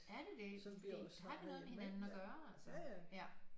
Er det det fordi har det noget med hinanden at gøre altså ja